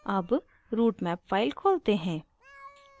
अब routemap file खोलते हैं